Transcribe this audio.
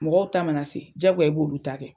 Mɔgɔw ta mana se jagoya i b'olu ta kɛ.